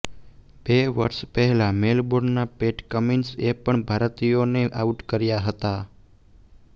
બે વર્ષ પહેલા મેલબોર્નમાં પેટ કમિન્સ એ પણ ભારતીયોને આઉટ કર્યા હતા